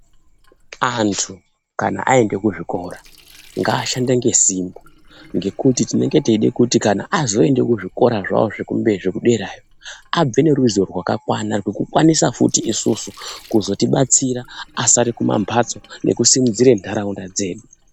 Antu kana aende kuzvikora ngaashande ngesimba ngekuti tinengeteida kuti kana azoende kuzvikora zvavo zvekudera akwanise futi bkuzotidetsera isu tinenge tasara kumhatso nekusimudzira nharaunda yavo